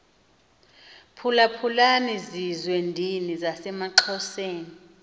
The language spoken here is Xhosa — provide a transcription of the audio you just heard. phulaphulani zizwendini zasemaxhoseni